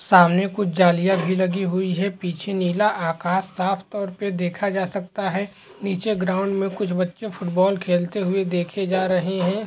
सामने कुछ जालिया भी लगी हुई हैं। पीछे नीला आकाश साफ़ तौर पे देखा जा सकता है। नीचे ग्राउंड में कुछ बच्चे फुटबॉल खेलते हुए देखे जा रहे हैं।